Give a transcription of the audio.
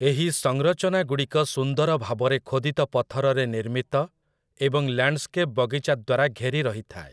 ଏହି ସଂରଚନାଗୁଡ଼ିକ ସୁନ୍ଦର ଭାବରେ ଖୋଦିତ ପଥରରେ ନିର୍ମିତ ଏବଂ ଲ୍ୟାଣ୍ଡସ୍କେପ୍ ବଗିଚା ଦ୍ୱାରା ଘେରି ରହିଥାଏ ।